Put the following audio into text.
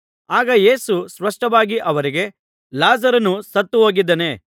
ಆಗ ಯೇಸು ಸ್ಪಷ್ಟವಾಗಿ ಅವರಿಗೆ ಲಾಜರನು ಸತ್ತು ಹೋಗಿದ್ದಾನೆ